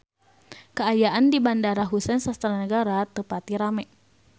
Kaayaan di Bandara Husein Sastra Negara teu pati rame